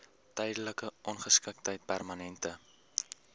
tydelike ongeskiktheid permanente